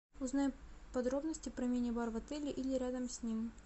узнай подробности про мини бар в отеле или рядом с ним